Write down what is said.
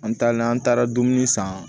An taalen an taara dumuni san